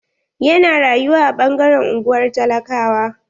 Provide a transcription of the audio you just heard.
Ya na rayuwa a ɓangaren unguwar talakawa.